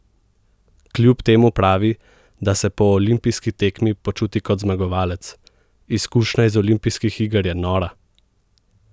Kljub temu pravi, da se po olimpijski tekmi počuti kot zmagovalec: "Izkušnja iz olimpijskih iger je nora.